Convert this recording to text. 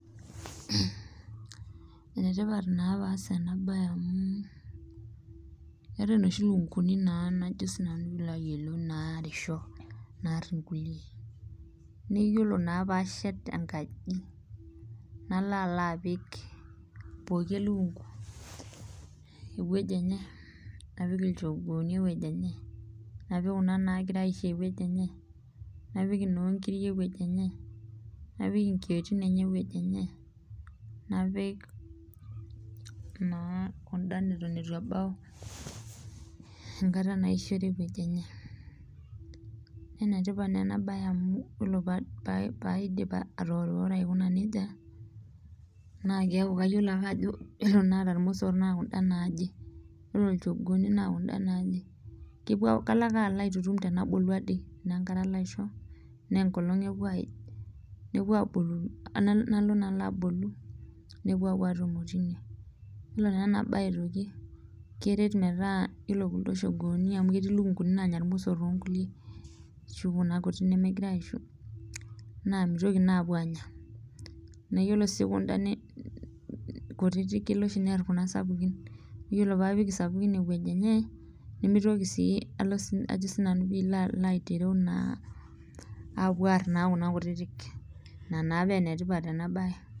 Enetipat naa pee ass ena bae amu keetae naa noshi lukunkuni naarisho naar inkulie ,naa yiko naa pee ashet enkaji nalo alo apik pooki elukunku eweji enye napik ilchogooni eweji enche ,napik Kuna nagira aisho eweji enye napik inoonkiri eweji enye ,naapiki nkiyioitin enye eweji enye ,napik Kuna neitu embau enkata naisho eweji enye, naa enetipata ena bae amu ore ake pee aidip atoworiworo yiolo paa naata iromosor naa kayiolo ajo kunda naaje yiolo lchogooni naa Kuna naaje ,kalo ake alo aitutum enkata naa enkare alo aisho ,tenasaa enkolong epuo aij nalo naa alo abolu nepuo naa apuo atumo tine .yiolo naa ena bae aitoki ,keret metaa yiolo kuldo shogooni amu ketii lukunkuni nanya iromosor loonkulie ,ashu auna kutitik nemegirae aisho naa mitoki naa apuo anya .na yiolo sii kunda kutitik kelo oshi neer kuna sapukin .yiolo pee apik sapukin eweji enye nemitoki sii apuo aar Kuna kutitik. ina naa paa enetipata ena bae.